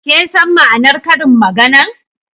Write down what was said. Kin san ma'anar Karin magana'n?